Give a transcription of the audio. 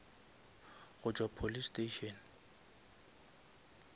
go tšwa police station